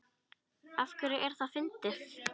Af hverju er það fyndið?